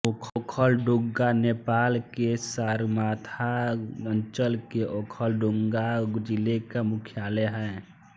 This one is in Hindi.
ओखलढुङ्गा नेपाल के सगरमाथा अंचल के ओखलढुंगा जिले का मुख्यालय है